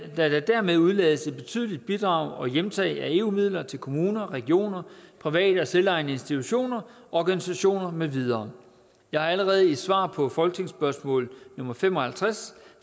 der dermed udelades et betydelige bidrag og hjemtag af eu midler til kommuner regioner private og selvejende institutioner og organisationer med videre jeg har allerede i et svar på folketingsspørgsmål nummer fem og halvtreds